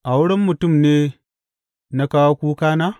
A wurin mutum ne na kawo kukana?